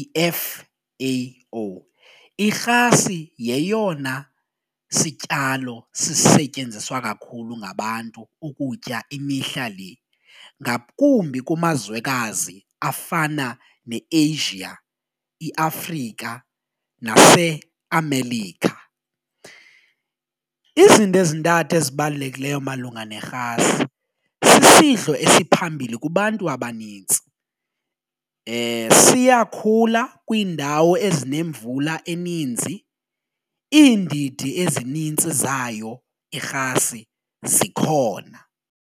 i-F_A_O. Irhasi yeyona sityalo sisetyenziswa kakhulu ngabantu ukutya imihla le ngakumbi kumazwekwazi afana neAsia, iAfrika naseAmelika. Izinto ezintathu ezibalulekileyo malunga nerhasi sisidlo esiphambili kubantu abanintsi siyakhula kwiindawo ezinemvula eninzi, iindidi ezinintsi zayo irhasi zikhona.